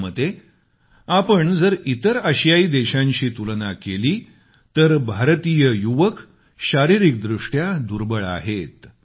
त्यांच्या मते आपण जर इतर आशियाई देशांशी तुलना केली तर भारतीय युवक शारीरिकदृष्ट्या दुर्बळ आहेत